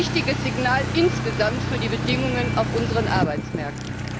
Ein wichtiges Signal insgesamt für die Bedingungen auf unseren Arbeitsmärkten!